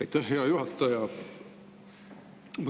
Aitäh, hea juhataja!